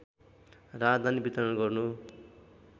राहदानी वितरण गर्नु